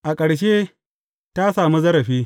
A ƙarshe, ta sami zarafi.